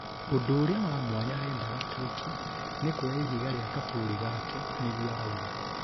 ũndũ ũria wa mwanya arendaga tuĩke nĩ kũoya ihiga ria Kaburi gake," nĩguo arauga